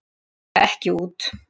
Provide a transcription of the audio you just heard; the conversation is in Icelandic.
Ætla ekki út